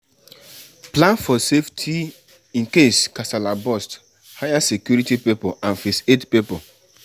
Plan for safety incase kasala burst hire security pipo and first aid pipo